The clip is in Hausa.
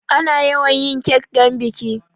Ana yawan yin kek don biki.